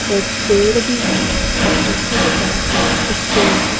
एक पेड़ भी है और पीछे की तरफ भी एक पेड़ है।